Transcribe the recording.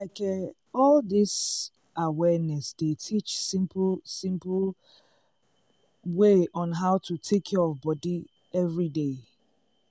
like eh all dis awareness dey teach simple simple um way on how to take care of body everyday.